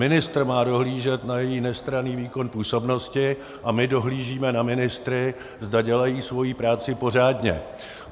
Ministr má dohlížet na její nestranný výkon působnosti a my dohlížíme na ministry, zda dělají svoji práci pořádně.